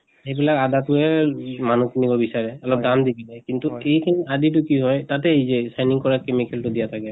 সেইবিলাক আদা টোয়ে মানুহে কিনিব বিচাৰে, অলপ দাম দি কিনে। কিন্তু এইখিন আদি টো কি হয় তাতে এই যে shining কৰা chemical টো দিয়া থাকে।